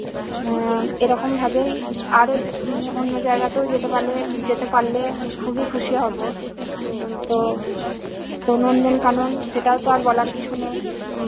উম এরকম ভাবেই। আরো উম অন্য জায়গাতে যেতে পারলে যেতে পারলে খুবই খুশি হব। উম তো নন্দনকানন সেটাও তো আর বলার কিছু নেই